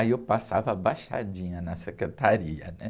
Aí eu passava abaixadinha na secretaria.